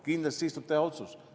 Kindlasti siis tuleb otsus.